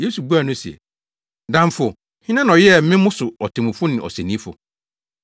Yesu buaa no se, “Damfo, hena na ɔyɛɛ me mo so otemmufo ne ɔsɛnnifo?”